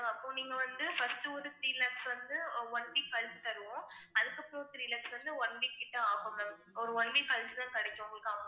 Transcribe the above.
அப்போ நீங்க வந்து first ஒரு three lakhs வந்து one week கழிச்சு தருவோம், அதுக்கப்புறம் three lakhs வந்து one week கிட்ட ஆகும் ma'am ஒரு one week கழிச்சுதான் கிடைக்கும் உங்களுக்கு அப்புறம்